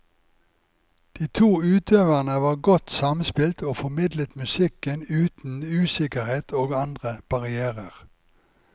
De to utøverne var godt samspilt og formidlet musikken uten usikkerhet og andre barrierer.